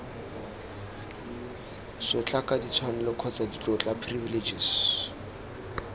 sotlaka ditshwanelo kgotsa ditlotla privileges